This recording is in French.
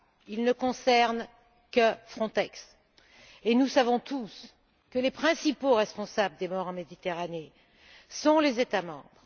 Il ne concerne que Frontex, et nous savons tous que les principaux responsables des morts en Méditerranée sont les États membres.